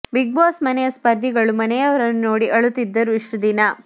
big Boss ಮನೆಯ ಸ್ಪರ್ಧಿಗಳು ಮನೆಯವರನ್ನು ನೋಡಿ ಅಳುತ್ತಿದ್ದರು ಇಷ್ಟು ದಿನ